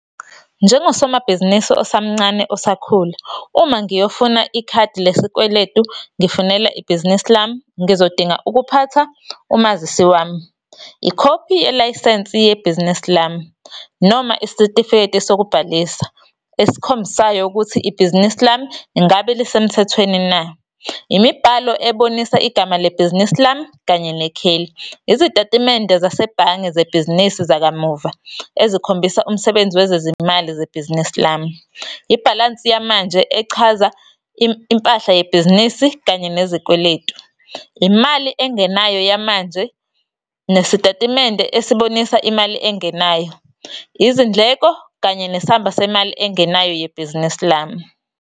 Njengosomabhizinisi osamncane osakhula, uma ngiyofuna ikhadi lesikweletu, ngifunela ibhizinisi lami, ngizodinga ukuphatha umazisi wami, ikhophi yeilayisense yebhizinisi lami, noma isitifiketi sokubhalisa esikhombisayo ukuthi ibhizinisi lami ingabe lisemthethweni na. Imibhalo ebonisa igama lebhizinisi lami, kanye nekheli. Izitatimende zasebhange zebhizinisi zakamuva, ezikhombisa umsebenzi wezezimali zebhizinisi lami. Ibhalansi yamanje echaza impahla yebhizinisi, kanye nezikweletu. Imali engenayo yamanje, nesitatimende esibonisa imali engenayo. Izindleko, kanye nesamba semali engenayo yebhizinisi lami.